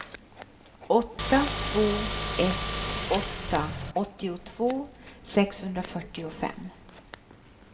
åtta två ett åtta åttiotvå sexhundrafyrtiofem